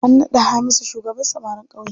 An naɗa Hamisu shugaban samarin ƙauye.